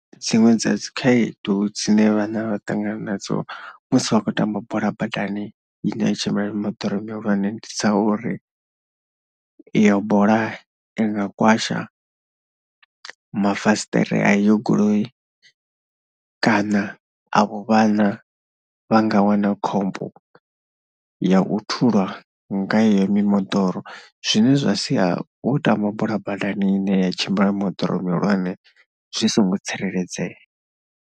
Dziṅwe dza dzi khaedu dzine vhana vha ṱangana nadzo musi vha khou tamba bola badani ine ya tshimbila mimoḓoro mihulwane ndi dza uri iyo bola i nga kwasha mafasiṱere a iyo goloi kana avho vhana vha nga wana khombo ya u thulwa nga yeneyo mimoḓoro. Zwine zwa sia u tamba bola badani ine ya tshimbila ya mimoḓoro mihulwane zwi songo tsireledzea.